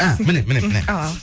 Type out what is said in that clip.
а міне міне міне ал ал